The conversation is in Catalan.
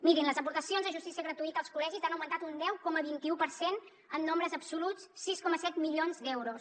mirin les aportacions de justícia gratuïta als col·legis han augmentat un deu coma vint un per cent en nombres absoluts sis coma set milions d’euros